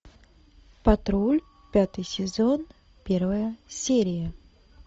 патруль пятый сезон первая серия